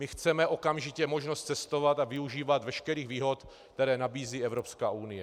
My chceme okamžitě možnost cestovat a využívat veškerých výhod, které nabízí Evropská unie.